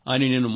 కానీ జరిగింది